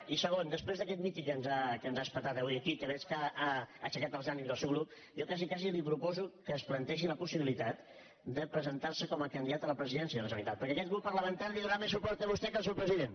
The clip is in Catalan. i segon després d’aquest míting que ens ha etzibat avui aquí que veig que ha aixecat els ànims del seu grup jo quasi quasi li proposo que es plantegi la possibilitat de presentar·se com a candidat a la presidència de la generalitat per·què aquest grup parlamentari li donarà més suport a vostè que al seu president